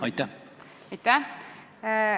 Aitäh!